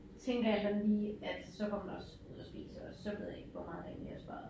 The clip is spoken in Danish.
Tænker jeg da lige at så går man også ud og spiser og så ved jeg ikke hvor meget der egentlig er sparet